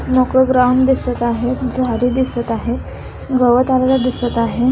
मोकळं ग्राउंड दिसत आहे झाडी दिसत आहे गवत आलेलं दिसत आहे.